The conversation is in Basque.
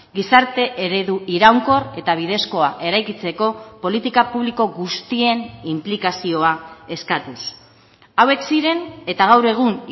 gizarte eredu iraunkor eta bidezkoa eraikitzeko politika publiko guztien inplikazioa eskatuz hauek ziren eta gaur egun